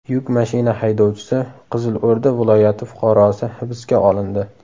Yuk mashina haydovchisi, Qizilo‘rda viloyati fuqarosi hibsga olindi.